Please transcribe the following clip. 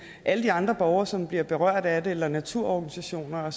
alle de andre borgere som bliver berørt af det eller naturorganisationer